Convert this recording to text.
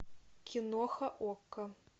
киноха окко